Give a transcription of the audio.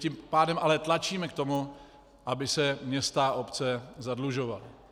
Tím pádem ale tlačíme k tomu, aby se města a obce zadlužovaly.